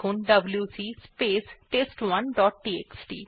WC space test one dot TXT